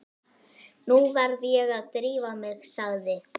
Nú verð ég að drífa mig, sagði